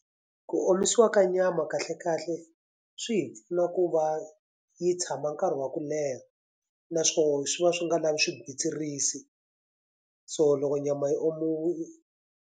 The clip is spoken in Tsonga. Ku omisiwa ka nyama kahlekahle swi hi pfuna ku va yi tshama nkarhi wa ku leha, naswona swi va swi nga lavi swigwitsirisi. So loko nyama yi .